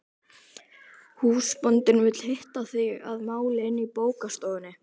Húsbóndinn vill hitta þig að máli inni í bókastofunni.